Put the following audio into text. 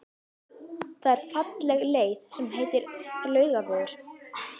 Það er falleg leið sem heitir Laugavegur.